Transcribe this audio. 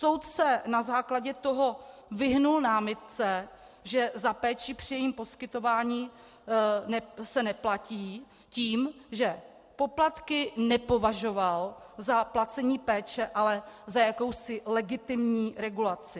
Soud se na základě toho vyhnul námitce, že za péči při jejím poskytování se neplatí, tím, že poplatky nepovažoval za placení péče, ale za jakousi legitimní regulaci.